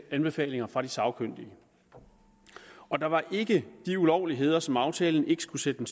anbefalinger fra de sagkyndige der var ikke de ulovligheder som aftalen skulle sætte en